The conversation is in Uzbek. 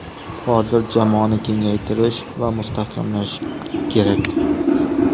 Hozir jamoani kengaytirish va mustahkamlash kerak.